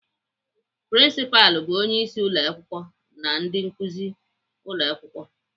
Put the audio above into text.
Prinsipalụ bụ onyeisi ụmụakwụkwọ na ndị nkuzi n'ụlọakwụkwọ.